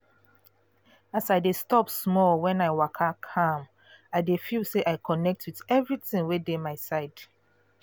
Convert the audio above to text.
as i de stop small when i waka calm i dey feel say i connect with everything wey dey my side